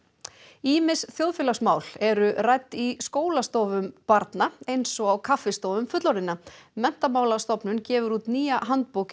ýmis þjóðfélagsmál eru rædd í skólastofum barna eins og á kaffistofum fullorðinna Menntamálastofnun gefur út nýja handbók